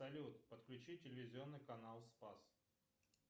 салют подключи телевизионный канал спас